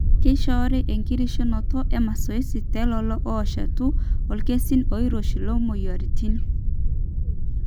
keishoori enkirishunoto emasoesi telelo ooshetu irkesii oirosho loomuoyiaritin.